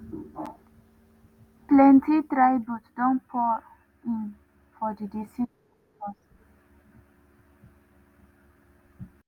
plenty tributes don pour in for di deceased actors.